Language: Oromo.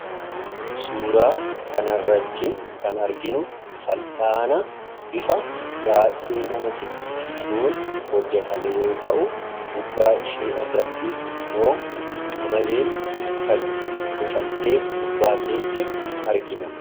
Suuraa kan irratti kan arginu fallaana bifa baay'ee nama dinqisiisuun hojjatame yoo ta'u gubbaa ishee irratti immoo qamaleen kan bucamtee gubbaateetti argina.